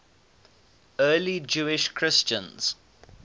early jewish christians